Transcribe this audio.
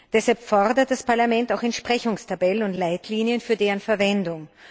Deshalb fordert das Parlament auch Entsprechungstabellen und Leitlinien für deren Verwendung.